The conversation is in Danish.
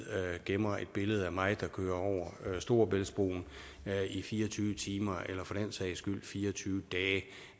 gemmer et billede af mig der kører over storebæltsbroen i fire og tyve timer eller for den sags skyld i fire og tyve dage